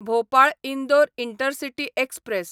Bhopal Indore intercity express